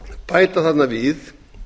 bæta þarna við